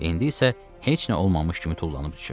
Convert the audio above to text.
İndi isə heç nə olmamış kimi tullanıb düşür.